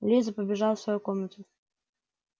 лиза побежала в свою комнату